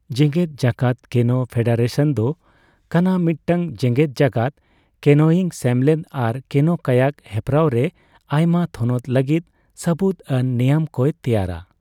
ᱡᱮᱜᱮᱫ ᱡᱟᱠᱟᱛ ᱠᱮᱱᱳ ᱯᱷᱮᱰᱟᱨᱮᱥᱚᱱ ᱫᱚ ᱠᱟᱱᱟ ᱢᱤᱫᱴᱟᱝ ᱡᱮᱜᱮᱫ ᱡᱟᱠᱟᱛ ᱠᱮᱱᱳᱭᱤᱝ ᱥᱮᱢᱞᱮᱫ ᱟᱨ ᱠᱮᱱᱳᱼᱠᱟᱭᱟᱠ ᱦᱮᱯᱨᱟᱣ ᱨᱮ ᱟᱭᱢᱟ ᱛᱷᱚᱱᱚᱛ ᱞᱟᱹᱜᱤᱫ ᱥᱟᱵᱩᱫ ᱟᱱ ᱱᱮᱭᱟᱢ ᱠᱚᱭ ᱛᱮᱭᱟᱨᱟ ᱾